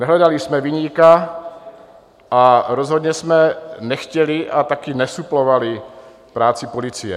Nehledali jsme viníka a rozhodně jsme nechtěli a také nesuplovali práci policie.